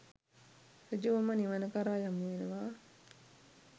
ඍජුවම නිවන කරා යොමු වෙනවා